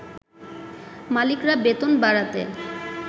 মালিকরা বেতন বাড়াতে